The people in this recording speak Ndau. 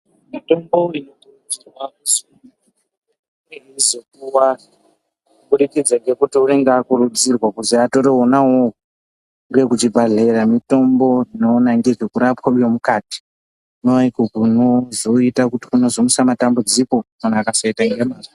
Mitombo inokurudzirwa kuzopuwa murwere inokurudzirwa kuti azopuwa kuti store wona uwowo ngeve kuchi bhehleya mitombo inokona ngezvekurspwa kwemukatinfiko kunozoita kuzomutsa matambudziko kana akasaita ngemazvo.